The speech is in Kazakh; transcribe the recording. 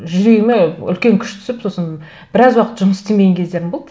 жүрегіме үлкен күш түсіп сосын біраз уақыт жұмыс істемеген кездерім болды